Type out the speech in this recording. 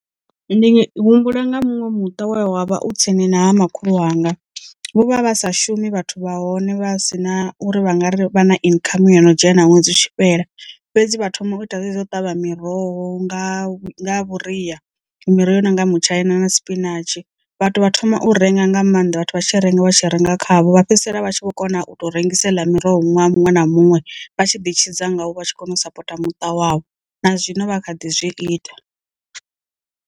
Ndi humbula nga munwe muṱa we wa vha u tsini na ha makhulu wanga, vho vha vha sa shumi vhathu vha hone vha si na uri vha nga ri vha na income yo no dzhena ṅwedzi u tshi fhela, fhedzi vha thoma u ita zwezwi zwo u ṱavha miroho nga nga vhuria miroho i nonga mutshaina na spinatshi vhathu vha thoma u renga nga maanḓa vhathu vha tshi renga vha tshi renga khavho vha fhedzisela vha tshi kho kona u to rengise heiḽa miroho ṅwaha muṅwe na muṅwe vha tshi ḓi tshidza ngawo vha tshi kona u sapota muṱa wavho na zwino vha kha ḓi zwi ita.